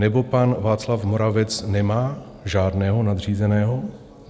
Nebo pan Václav Moravec nemá žádného nadřízeného?